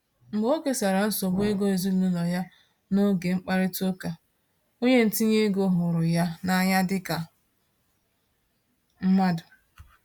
Mgbe o kesara nsogbu ego ezinụlọ ya n'oge mkparịta ụka, onye ntinye ego hụrụ ya n’anya dịka mmadụ.